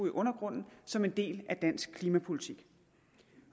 i undergrunden som en del af dansk klimapolitik